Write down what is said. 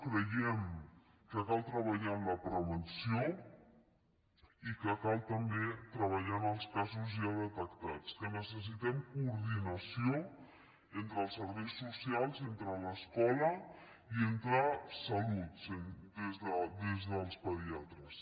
creiem que cal treballar en la prevenció i que cal també treballar en els casos ja detectats que necessitem coordinació en·tre els serveis socials entre l’escola i entre salut des dels pediatres